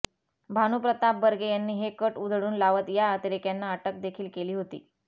भानुप्रताप बर्गे यांनी तो कट उधळून लावत त्या अतिरेक्यांना अटक देखील केली होती